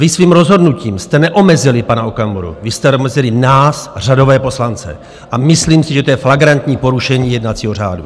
Vy svým rozhodnutím jste neomezili pana Okamuru, vy jste omezili nás, řadové poslance, a myslím si, že to je flagrantní porušení jednacího řádu.